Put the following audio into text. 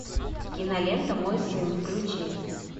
кинолента мой сын включи